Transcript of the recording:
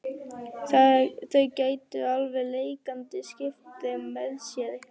Þau geti alveg leikandi skipt þeim með sér.